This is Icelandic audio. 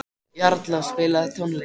Jarla, spilaðu tónlist.